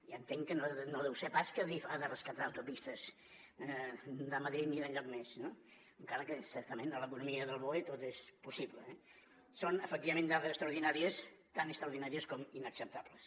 ja entenc que no deu ser pas que adif ha de rescatar autopistes de madrid ni d’enlloc més no encara que certament a l’economia del boe tot és possible eh són efectivament dades extraordinàries tan extraordinàries com inacceptables